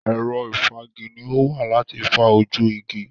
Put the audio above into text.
Ẹ̀rọ ìfági ni ó wà láti fa ojú igi.